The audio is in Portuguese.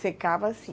Secava assim?